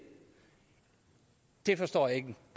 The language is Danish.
det forstår jeg ikke